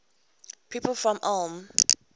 people from ulm